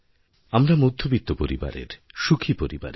আমরা মধ্যবিত্ত পরিবারের সুখী পরিবারের